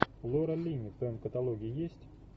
лора линни в твоем каталоге есть